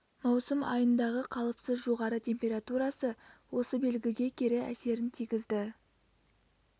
маусым айындағы қалыпсыз жоғары температурасы осы белгіге кері әсерін тигізді